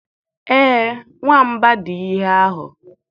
Ee, ọ nwamba dị ihe ahụ.